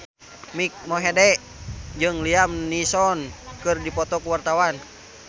Mike Mohede jeung Liam Neeson keur dipoto ku wartawan